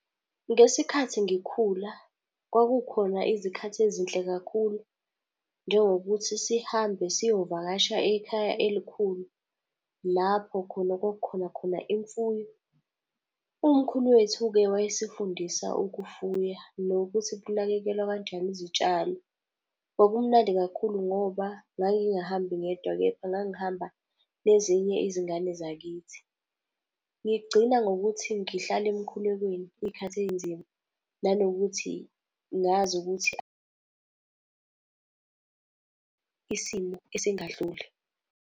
Ngesikhathi ngikhula, kwakukhona izikhathi ezinhle kakhulu. Njengokuthi sihambe siyovakasha ekhaya elikhulu, lapho khona kwakukhona khona imfuyo. Umkhulu wethu-ke wayesifundisa ukufuya nokuthi kunakekelwa kanjani izitshalo. Kwakumnandi kakhulu, ngoba ngangingahambi ngedwa, kepha ngangihamba nezinye izingane zakithi. Ngigcina ngokuthi ngihlale emkhulekweni iy'khathi ey'nzima, nanokuthi ngazi ukuthi isimo esingadluli.